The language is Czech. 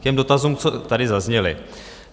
K těm dotazům, co tady zazněly.